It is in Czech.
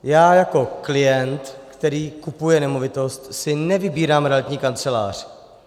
Já jako klient, který kupuje nemovitost, si nevybírám realitní kancelář.